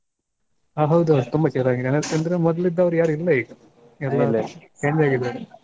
ಹ ಹೌದು ಹೌದು ತುಂಬ change ಆಗಿದೆ ಯಾಕಂದ್ರೆ ಮೊದ್ಲಿದ್ದೋರ್ ಯಾರು ಇಲ್ಲ ಈಗ. change ಆಗಿದ್ದಾರೆ.